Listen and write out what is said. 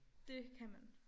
Det kan man